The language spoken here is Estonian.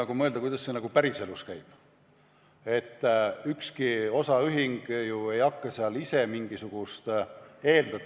Kui mõelda, kuidas see päriselus käib, siis ükski osaühing ei hakka ju seal ise mingisugust ...